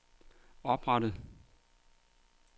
oprettet